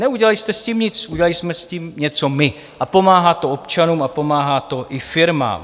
Neudělali jste s tím nic, udělali jsme s tím něco my a pomáhá to občanům a pomáhá to i firmám.